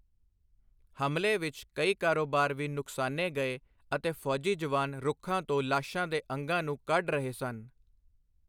ਹਮਲੇ ਵਿੱਚ ਕਈ ਕਾਰੋਬਾਰ ਵੀ ਨੁਕਸਾਨੇ ਗਏ ਅਤੇ ਫੌਜੀ ਜਵਾਨ ਰੁੱਖਾਂ ਤੋਂ ਲਾਸ਼ਾਂ ਦੇ ਅੰਗਾਂ ਨੂੰ ਕੱਢ ਰਹੇ ਸਨ।